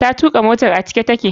Ta tuka motar a cike take.